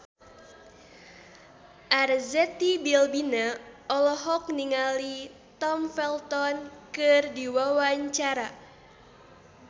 Arzetti Bilbina olohok ningali Tom Felton keur diwawancara